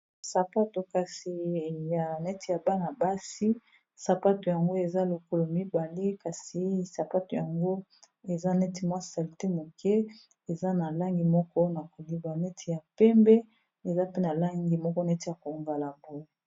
Sapato kasi ya neti ya bana-basi sapato yango eza lokolo mibale kasi sapato yango eza neti mwa salite moke eza na langi moko na koleba neti ya pembe eza pena langi moko neti ya kongala poe.